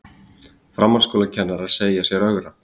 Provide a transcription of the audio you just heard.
Framhaldsskólakennarar segja sér ögrað